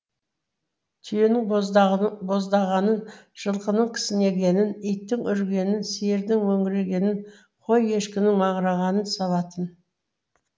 түйенің боздағанын жылқының кісінегенін иттің үргенін сиырдың мөңірегенін қой ешкінің маңырағанын салатын